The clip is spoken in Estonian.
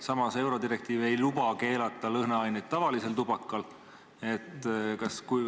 Samas ei luba eurodirektiiv keelata lõhnaaineid tavalisel tubakal.